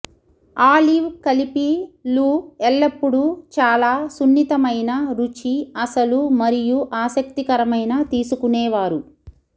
olive కలిపి లు ఎల్లప్పుడూ చాలా సున్నితమైన రుచి అసలు మరియు ఆసక్తికరమైన తీసుకునేవారు